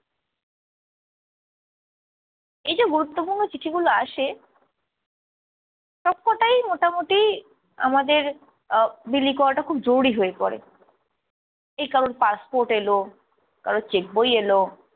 এইযে গুরুত্বপূর্ণ চিঠিগুলো আসে সবকটাই মোটামোটি আমাদের আহ বিলি করাটা খুব জরুরি হয়ে পরে। এই কারোর passport এলো, কারোর cheque বই এলো,